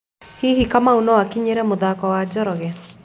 Hihi Kamau no akinyĩre mũthako wa Njoroge